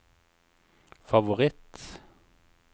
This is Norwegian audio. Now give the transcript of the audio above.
favoritt